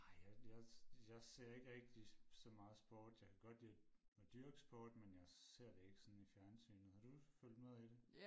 Nej jeg jeg jeg ser ikke rigtig så meget sport jeg kan godt lide at dyrke sport men jeg ser det ikke sådan i fjernsynet har du fulgt med i det?